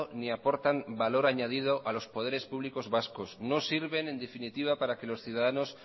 ni aportan valor añadido a los poderes públicos vasco no sirven en definitiva para que los ciudadanos